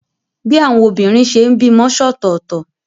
Bí àwọn obìnrin ṣe ń bímọ ṣọ̀tọ̀tọ̀.